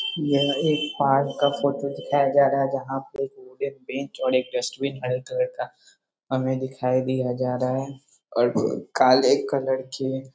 यह एक पार्क का फोटो दिखाया जा रहा है जहाँ पे एक बेंच और डस्टबिन हरा कलर का हमें दिखाई दिया जा रहा है और काले कलर की --.